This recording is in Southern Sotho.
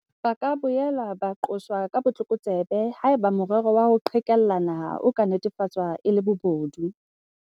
Ba ka boela ba qoswa ka botlokotsebe haeba morero wa ho qhekella naha o ka netefatswa e le bobodu.